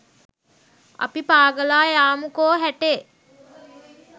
අපි පාගලා යාමුකො හැටේ